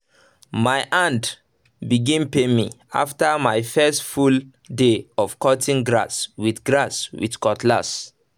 my hand begin pain me after my first full um day of cutting grass with grass with cutlass